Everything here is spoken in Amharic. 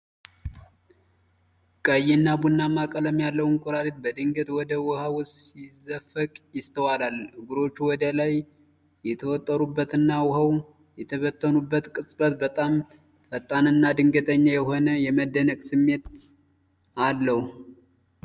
ቀይና ቡናማ ቀለም ያለው እንቁራሪት በድንገት ወደ ውሃ ውስጥ ሲዘፈቅ ይስተዋላል። እግሮቹ ወደ ላይ የተወጠሩበትና ውሃው የተበተነበት ቅጽበት በጣም ፈጣንና ድንገተኛ የሆነ የመደነቅ ስሜት አለው።